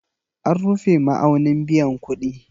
An rufe ma'aunin biyan kuɗi